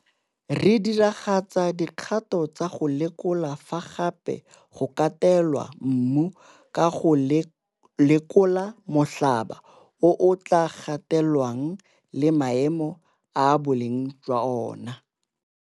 Re diragatsa dikgato tsa go lekola fa gape go katelwa mmu, ka go lekola molhaba o o tla katelwang le maemo a boleng jwa ona.